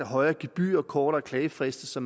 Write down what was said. højere gebyrer og kortere klagefrister